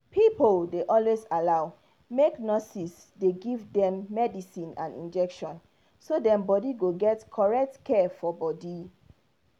pipo dey always allow make nurses dey give them medicine and injection so dem body go get correct care for body.